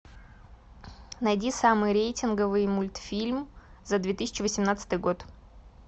найди самый рейтинговый мультфильм за две тысячи восемнадцатый год